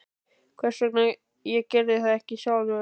Hvers vegna ég gerði það ekki sjálfur?